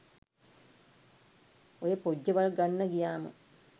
ඔය පොජ්ජවල් ගන්න ගියාම